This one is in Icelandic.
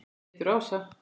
Pétur og Ása.